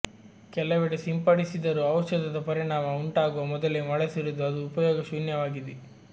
ಕೆಲವೆಡೆ ಸಿಂಪಡಿಸಿದರೂ ಔಷಧದ ಪರಿಣಾಮ ಉಂಟಾಗುವ ಮೊದಲೇ ಮಳೆ ಸುರಿದು ಅದು ಉಪಯೋಗ ಶೂನ್ಯವಾಗಿದೆ